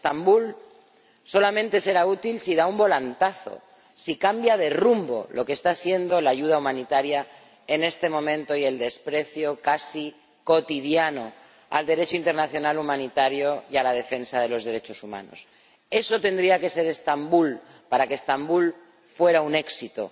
Estambul solamente será útil si da un volantazo, si cambia de rumbo lo que está siendo la ayuda humanitaria en este momento y el desprecio casi cotidiano al Derecho internacional humanitario y a la defensa de los derechos humanos. Eso tendría que ser Estambul para que Estambul fuera un éxito.